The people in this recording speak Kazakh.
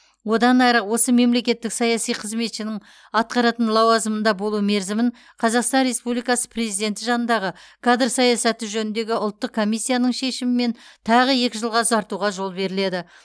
одан әрі осы мемлекеттік саяси қызметшінің атқаратын лауазымында болу мерзімін қазақстан республикасы президенті жанындағы кадр саясаты жөніндегі ұлттық комиссияның шешімімен тағы екі жылға ұзартуға жол беріледі